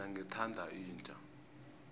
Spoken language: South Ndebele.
mina ngithanda inja